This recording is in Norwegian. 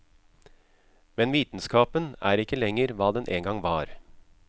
Men vitenskapen er ikke lenger hva den engang var.